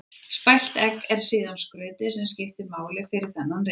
Spælt egg er síðan skrautið sem skiptir máli fyrir þennan rétt.